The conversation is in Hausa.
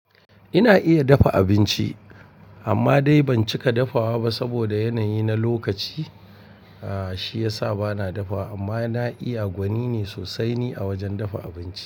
Ina iya dafa abinci amma dai ban cika dafawa ba saboda yanayi na lokaci, ah shi yasa bana dafawa amma na iya gwani ne sosai ni a wajan dafa abinci.